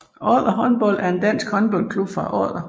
Odder Håndbold er en dansk håndboldklub fra Odder